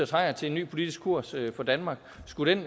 trænger til en ny politisk kurs for danmark skulle den